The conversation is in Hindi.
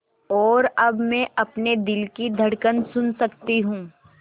और अब मैं अपने दिल की धड़कन सुन सकती हूँ